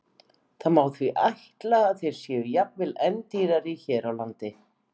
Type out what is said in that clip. Það má því ætla að þeir séu jafnvel enn dýrari hér á landi.